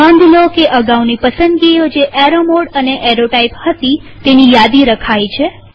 નોંધ લો કે અગાઉની પસંદગીઓ જે એરો મોડ અને એરો ટાઇપ હતી તેની યાદી રખાઈ છે